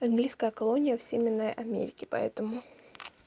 английская колония в северной америке поэтому